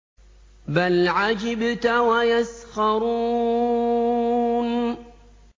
بَلْ عَجِبْتَ وَيَسْخَرُونَ